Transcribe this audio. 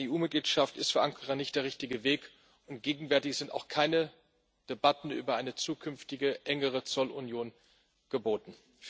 Eine EU Mitgliedschaft ist für Ankara nicht der richtige Weg, und gegenwärtig sind auch keine Debatten über eine zukünftige engere Zollunion geboten.